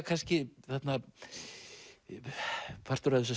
kannski þarna partur af þessu